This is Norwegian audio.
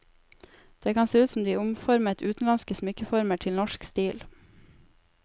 Det kan se ut som om de omformet utenlandske smykkeformer til norsk stil.